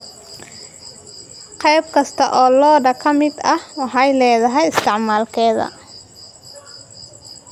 Qayb kasta oo lo'da ka mid ah waxay leedahay isticmaalkeeda.